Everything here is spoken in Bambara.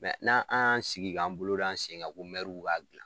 n'an an y'an sigi k'an bolo d'an sen kan ko mɛruw b'a dilan